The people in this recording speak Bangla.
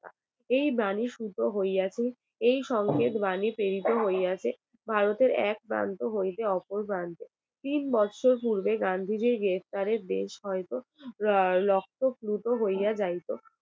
এই বাণী শুদ্ধ হইয়াছে এই সংকেত বাণী প্রেরিত হইয়াছে ভারতের এক প্রান্ত হইতে অপর প্রান্তে তিন বছর পূর্বে গান্ধীজি গ্রেপ্তারের হয়তো রক্তপ্লুত হইয়া যাইতো